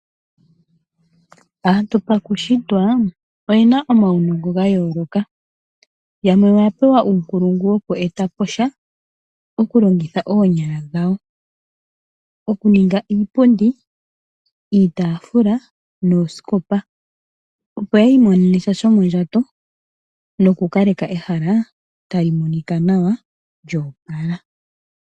Aantu pakushitwa, oyena omaunongo gayooloka. Yamwe oyapewa uunkulungu woku eta po sha okulongitha oonyala dhawo. Okuninga iipundi, iitaafula, nuuskopa. Opo yi imonene mo sha shomondjato, nokukaleka ehala, talimonika nawa joopala.